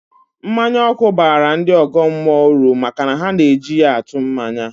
Mmanya ọkụ baara ndị ọgọ mmụọ uru maka na ha na-eji ya atụ mmanya